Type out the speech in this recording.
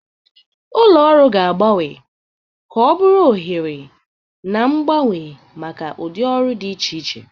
Ụlọ ọrụ ga-agbanwe ka ọ bụrụ oghere na-agbanwe maka ụdị ọrụ dị iche iche.